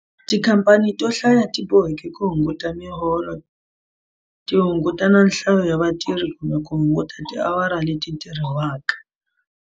Tikhamphani to hlaya ti boheke ku hunguta miholo, ti hunguta nhlayo ya vatirhi kumbe ku hunguta tiawara leti tirhiwaka.